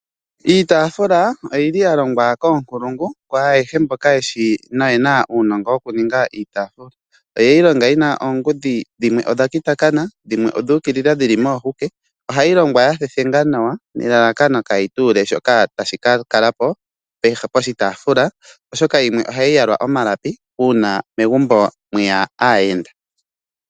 Iitaafula oyili ya longwa koonkulungu kwa ayehe mboka yeshi noyena uunongo wokuninga iitaafula. Oyeyi longa yi na oongudhi dhimwe odha kitakana, dhimwe odhu ukilila dhili moohuke. Ohayi longwa ya thethengwa nawa nelalakano kaayi tuule shoka tashi ka kala po poshitaafula oshoka yimwe ohayi yalwa omalapi uuna megumbo mweya aayenda.